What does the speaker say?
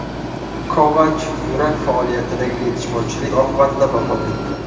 Kovach yurak faoliyatidagi yetishmovchilik oqibatida vafot etdi.